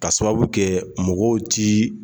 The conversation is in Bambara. Ka sababu kɛ mɔgɔw ti